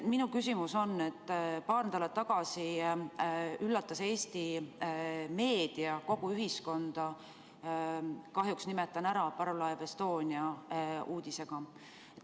Minu küsimus on selle kohta, et paar nädalat tagasi üllatas Eesti meedia kogu ühiskonda – kahjuks nimetan seda – parvlaev Estonia uudisega.